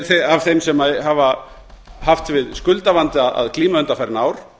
af þeim sem hafa haft við skuldavanda að glíma undanfarin ár